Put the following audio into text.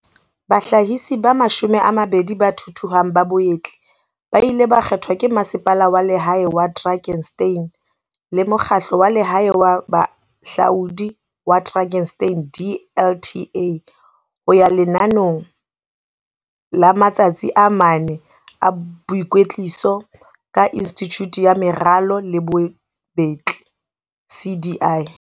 bahlahisi ba 20 ba thuthuhang ba bobetli ba ileng ba kgethwa ke Masepala wa Lehae wa Drakenstein le Mokgahlo wa Lehae wa Bohahlaudi wa Drakenstein, DLTA, ho ya lenanong la matsatsi a mane a boikwetliso ka Institjhute ya Meralo le Bobetli, CDI.